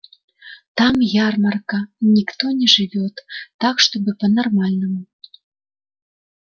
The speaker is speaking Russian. там ярмарка никто не живёт так чтобы по-нормальному